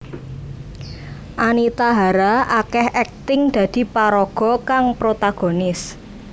Anita Hara akéh akting dadi paraga kang protagonis